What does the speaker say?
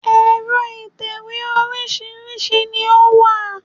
Ẹ̀rọ ìtẹ̀wé oríṣìíríṣìí ni ó wà